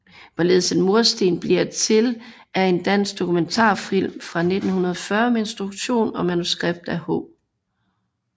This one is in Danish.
Hvorledes en mursten bliver til er en dansk dokumentarfilm fra 1940 med instruktion og manuskript af H